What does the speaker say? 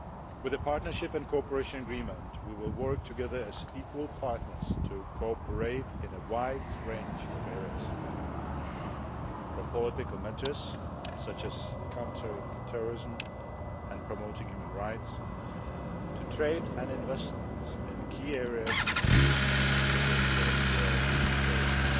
With the Partnership and Cooperation Agreement, we will work together as equal partners to cooperate in a wide range of areas from political matters such as countering terrorism and promoting human rights, to trade and investment in key areas such as raw materials.